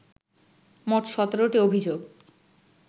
মোট সতেরটি অভিযোগ